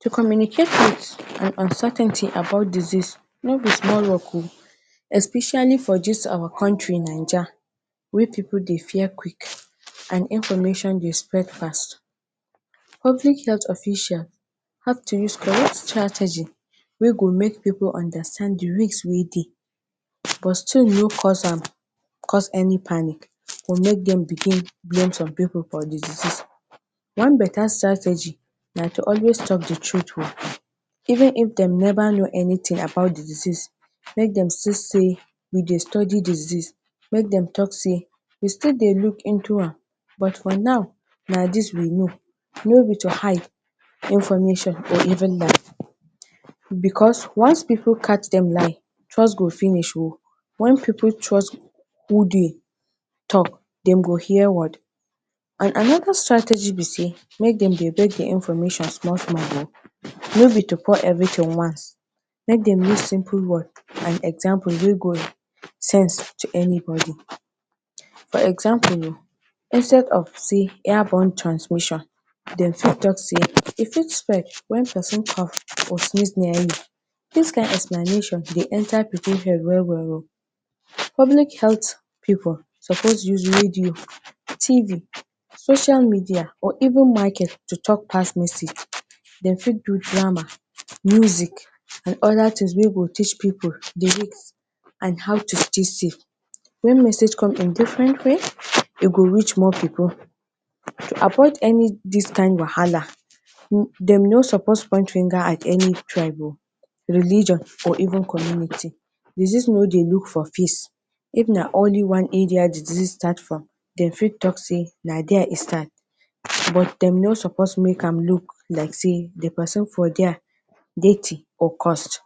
To communicate with an uncertainty about disease no be small work oh, especially for dis awa kontri Naija wey pipu dey fear quick and information dey spread fast. Public health official have to use correct strategy wey go make pipu understand di risk wey dey, but still no cause am cause any panic to make dem begin blame some pipu for di disease. One beta strategy na to always tok di truth oh. Even if dem neva know anytin about di disease, make dem still say “we dey study di disease”, make dem tok say “we still dey look into am, but for now, na dis we know.” No be to hide information or even lie, because, once pipu catch dem lie, trust go finish oh. Wen pipu trust who dey tok, dem go fear word. And anoda strategy be sey make dem dey bring di information small small oh. No be to pour everytin once. Make dem use simple words and example wey go sense to anybody. For example, instead of sey “airborne transmission”, dem fit tok say “e fit spread wen pesin cough or sneeze near you.” Dis kain explanation dey enta pipu head well well oh. Public health pipu suppose use radio, TV, social media or even market to tok pass message. Dem fit do drama, music, and oda tins wey go teach pipu di risk and how to stay safe. Wen message come in different way, e go reach more pipu. To approach any, dis kain wahala, dem no suppose point finger at any tribe oh, religion or even community. Disease no dey look for face. If na only one area di disease start from, dem fit tok say na there e start. But dem no suppose make am look like sey na there e start from, but dem no suppose make am look like sey di pesin for there dirty or cursed.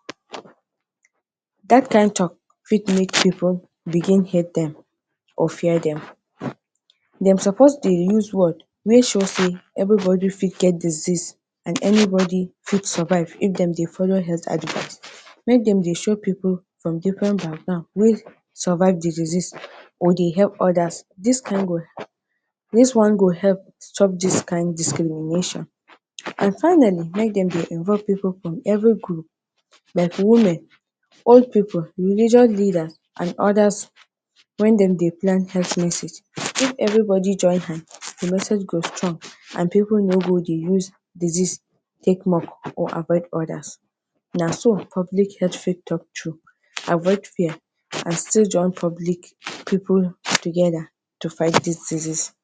Dat kain tok fit make pipu begin hate dem or fear dem. Dem suppose dey use word wey show sey everybody fit get disease, and anybody fit survive if dem dey follow health advice. Make dem dey show pipu from different background wey survive di disease or dey epp odas. Dis kain one dis one go epp stop dis kain discrimination. And finally, make dem dey enroll pipu from every group, like women, old pipu, religious leadas and odas wen dem dey plan health message. If everybody join hands, di message go strong and pipu no go dey use disease take mock or avoid odas. Na so public health fit tok true, avoid fear and still join public pipu togeda to fight disease.